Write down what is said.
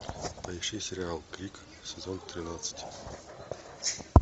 поищи сериал крик сезон тринадцать